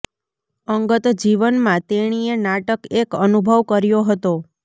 અંગત જીવન માં તેણીએ નાટક એક અનુભવ કર્યો હતો